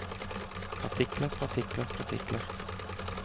partikler partikler partikler